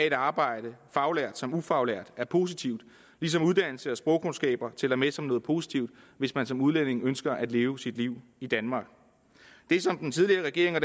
et arbejde faglært som ufaglært er positivt ligesom uddannelse og sprogkundskaber tæller med som noget positivt hvis man som udlænding ønsker at leve sit liv i danmark det som den tidligere regering og